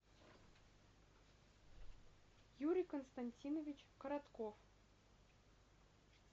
юрий константинович коротков